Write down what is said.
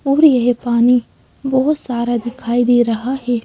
और ये पानी बहोत सारा दिखाई दे रहा है।